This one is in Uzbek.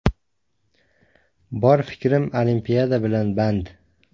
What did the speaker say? Bor fikrim Olimpiada bilan band.